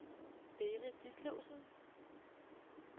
Berit Ditlevsen